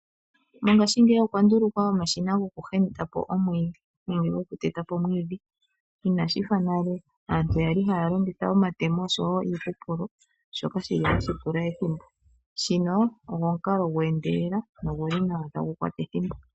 Mongaashingeyi okwa ndulukwa omashina goku heya omwiidhi nenge goku tetapo omwiidhi inashifa nale aantu yali haya longitha omatemo oshowo iihupulo shoka shili oshipu sho ihashi pula ethimbo .shino osho omukalao gwe endelela noguli ihagu kwata ethimbo.